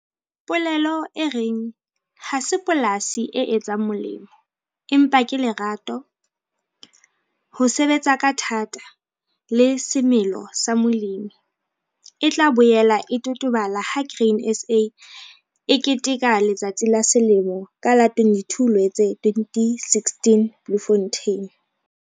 Polelo e reng 'Ha se polasi e etsang molemo, empa ke lerato, ho sebetsa ka thata le semelo sa molemi' e tla boela e totobala ha Grain SA e keteka Letsatsi la Selemo ka la 22 Loetse 2016 Bloemfontein.